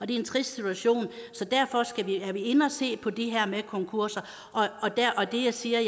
det er en trist situation så derfor er vi inde og se på det her med konkurser det jeg siger